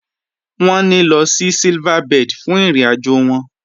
Wọn nílọ̀ sí Silverbird fún ìrìn-àjọ wọn.